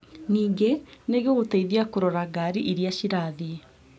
Ningĩ, nĩngũgũteithiaa kũrora ngari irĩa cirathie